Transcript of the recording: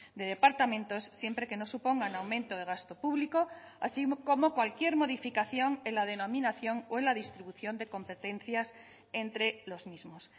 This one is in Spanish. de departamentos siempre que no supongan aumento de gasto público así como cualquier modificación en la denominación o en la distribución de competencias entre los mismos